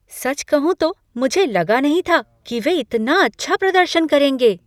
सच कहूं तो मुझे लगा नहीं था कि वे इतना अच्छा प्रदर्शन करेंगे।